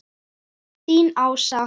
Þín Ása.